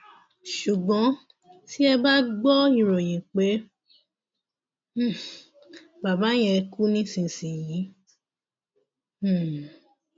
ṣùgbọn tí ẹ bá gbọ ìròyìn pé um bàbá yẹn kú nísìnyìí um